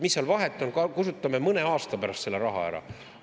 Mis seal vahet on, kasutame mõne aasta pärast selle raha ära?